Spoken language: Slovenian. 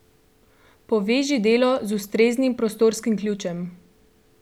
Poveži delo z ustreznim prostorskim ključem!